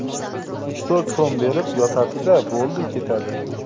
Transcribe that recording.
Uch–to‘rt so‘m berib, yotadi-da, bo‘ldi, ketadi.